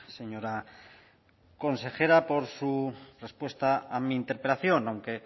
señora consejera por su respuesta a mi interpelación aunque